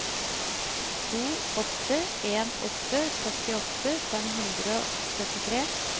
to åtte en åtte førtiåtte fem hundre og syttitre